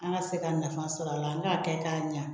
An ka se ka nafa sɔrɔ a la an k'a kɛ k'a ɲa